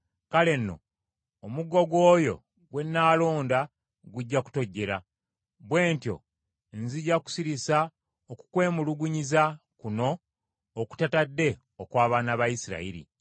Kale nno omuggo gw’oyo gwe nnaalonda gujja kutojjera; bwe ntyo nzija kusirisa okukwemulugunyiza kuno okutatadde okw’abaana ba Isirayiri.”